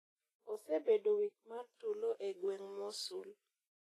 osebedo wik mar tulo e gweng Mosul.